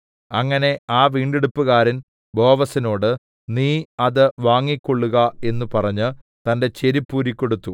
അങ്ങനെ ആ വീണ്ടെടുപ്പുകാരൻ ബോവസിനോട് നീ അത് വാങ്ങിക്കൊള്ളുക എന്നു പറഞ്ഞ് തന്റെ ചെരിപ്പൂരിക്കൊടുത്തു